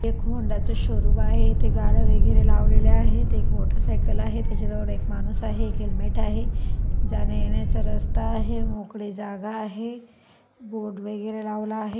एक होंडाच शोरूम आहे ते गाडे वैगेरे लावलेल आहेत एक मोटरसायकल आहेत त्याच्या जवळ एक माणूस आहे. एक हेल्मेट आहे जाण्या येण्याचं रस्ता आहे. मोकळे जागा आहे. बोर्ड वगेरे लावले आहे.